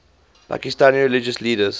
pakistani religious leaders